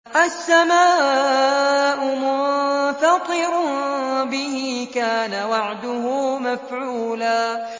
السَّمَاءُ مُنفَطِرٌ بِهِ ۚ كَانَ وَعْدُهُ مَفْعُولًا